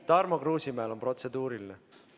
Tarmo Kruusimäel on protseduuriline küsimus.